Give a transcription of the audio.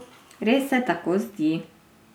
Res se tako zdi.